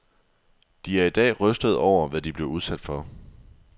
De er i dag rystede over, hvad de blev udsat for.